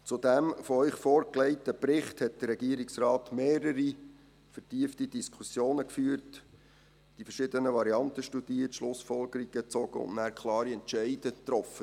Zu dem Ihnen vorgelegten Bericht hat der Regierungsrat mehrere vertiefte Diskussionen geführt, die verschiedenen Variante studiert, Schlussfolgerungen gezogen und nachher klare Entscheide getroffen.